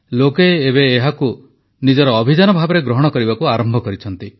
ଲୋକେ ଏବେ ଏହାକୁ ନିଜର ଅଭିଯାନ ଭାବରେ ଗ୍ରହଣ କରିବାକୁ ଆରମ୍ଭ କରିଛନ୍ତି